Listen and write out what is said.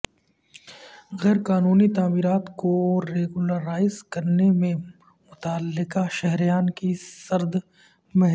غیر قانونی تعمیرات کو ریگولرائز کرنے میں متعلقہ شہریان کی سردمہری